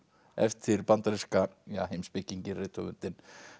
eftir bandaríska heimspekinginn rithöfundinn